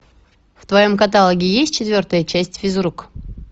в твоем каталоге есть четвертая часть физрук